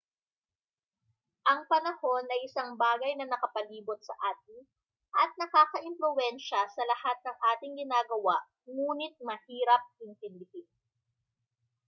ang panahon ay isang bagay na nakapalibot sa atin at nakakaimpluwensiya sa lahat ng ating ginagawa nguni't mahirap intindihin